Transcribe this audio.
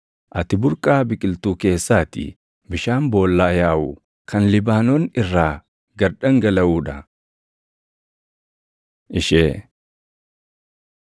Ati burqaa biqiltuu keessaa ti; bishaan boollaa yaaʼu kan Libaanoon irraa gad dhangalaʼuu dha. Ishee